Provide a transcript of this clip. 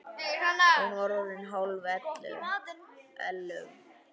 Hún var orðin hálf ellefu.